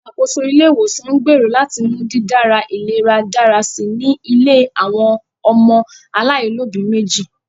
Ìṣàkóso ilé-ìwòsàn ń gbèrò láti mú dídára ìlera dára si ní ilé àwọn ọmọ alaáìlóbi méjì